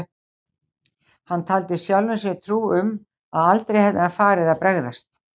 Hann taldi sjálfum sér trú um að aldrei hefði hann farið að bregðast